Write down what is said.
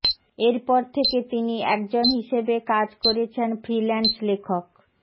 এরপর থেকে তিনি একজন হিসেবে কাজ করেছেন ফ্রিল্যান্স লেখক